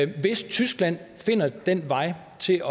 hvis tyskland finder den vej til